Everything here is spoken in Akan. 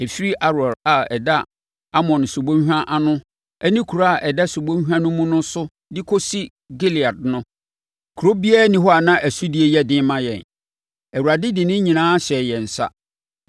Ɛfiri Aroer a ɛda Arnon subɔnhwa ano ne kuro a ɛda subɔnhwa no mu no so de kɔsi Gilead no, kuro biara nni hɔ a na ɛsodie yɛ den ma yɛn; Awurade de ne nyinaa hyɛɛ yɛn nsa.